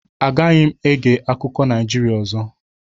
Agaghị m ege akụkọ Naijirịa ọzọ